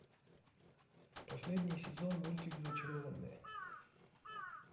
последний сезон мультик зачарованные